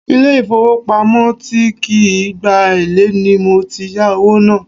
Ile ifowopamo tí kì í gba èlé ni mo ti yà owó náà.